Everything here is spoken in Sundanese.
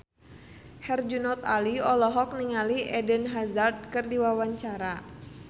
Herjunot Ali olohok ningali Eden Hazard keur diwawancara